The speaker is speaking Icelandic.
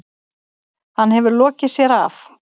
Hann hefur lokið sér af.